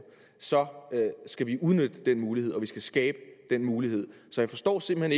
så skal vi udnytte den mulighed og vi skal skabe den mulighed så jeg forstår simpelt